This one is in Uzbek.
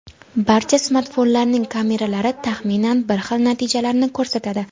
barcha smartfonlarning kameralari taxminan bir xil natijalarni ko‘rsatadi.